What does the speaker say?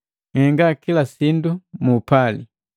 Unhenga kila sindu mu upali.